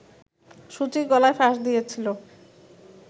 সূচি গলায় ফাঁস দিয়েছিলো